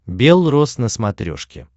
бел роз на смотрешке